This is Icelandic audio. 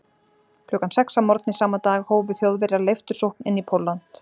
Klukkan sex að morgni sama dag hófu Þjóðverjar leiftursókn inn í Pólland.